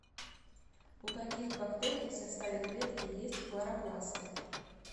у каких бактерий в составе клетки есть хлоропласты